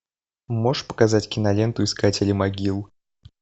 можешь показать киноленту искатели могил